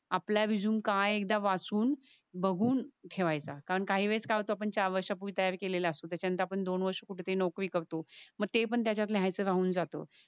आपला रेझूमे का ये ते एकदा वाचून बघून ठेवायचा. कारण काही वेळेस काय होत आपण चार वर्ष पूर्वी तयार केलेला असतो त्यानंतर आपण दोन वर्ष कुठतरी नोकरी करतो. मग इत पण त्याच्यात लिहायच राहून जात.